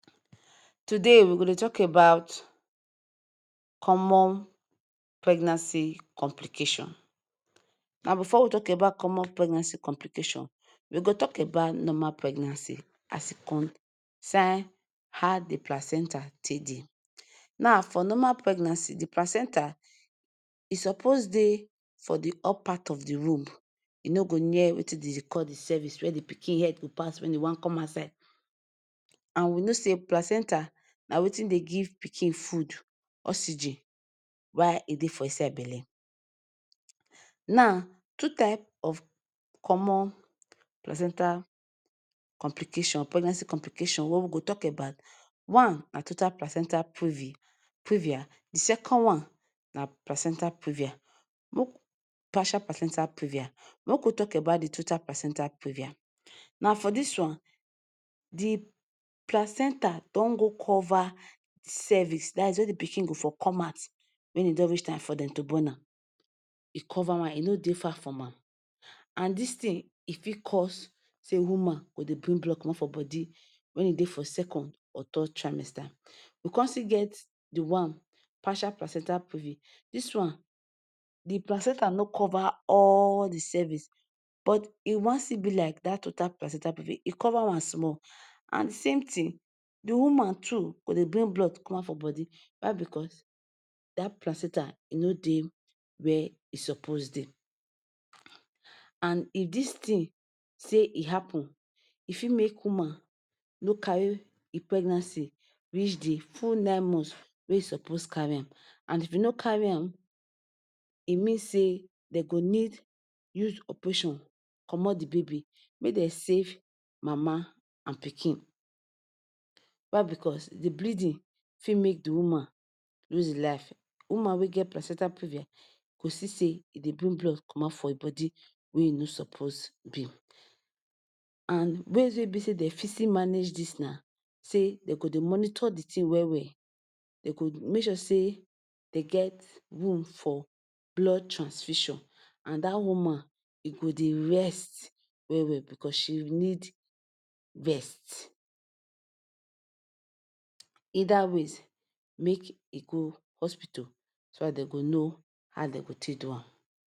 Today we go dey tok about common pregnancy complicattion. Now before we tok about common pregnancy complicattion, we go first tok about normal pregnancy as e concern how di placenta take dey. Now for normal pregnancy, di placenta e suppose dey for di upper part of di womb. E no go near wetin dem dey call di cervix, wia di pikin head go pass when e wan come outside. And we know say placenta na wetin dey give pikin food, oxygen while e still dey for inside belle. Now two type of common placenta complication, pregnancy complicattion wey we go tok about. One na total placenta previ, previa, di second one na placenta previa, make we, partial placenta previa. Make we tok about di total placenta previa. Na for dis one, di placenta don go cover cervix dat’s wia di pikin go for come out when e don reach time for dem to born am. E cover am, e no dey far from am. And dis one fit cause say woman go dey bring blood comot from body when e dey for second or third trimester. We come still get the one partial placenta previa. Dis one, di placenta no cover all di cervix, but e wan still be like total placenta previa e cover am small. And same tin, di woman too go dey bring blood come out from body. Why? Bicos dat place centre no dey wia e suppose dey, And if dis tin happen, e fit make di woman no carry di pregnancy reach di full nine months wey e suppose carry am. And if e no carry am, e mean say dem go need use operation comot di baby make dem save mama and pikin. Why? Bicos di bleeding fit make di woman lose em life. Woman wey get placenta problem go see say e dey bring blood comot from her body wen e no suppose be. And ways wey be say dem fit manage dis na say dem go dey monitor di tin well well, dem go make sure say dem get room for blood transfusion, and dat woman go dey rest well well bicos she need rest. Either ways, make she go hospital, so dat dem go know how dem go take do am.